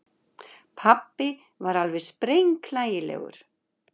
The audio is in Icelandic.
Pabbi var alveg sprenghlægilegur.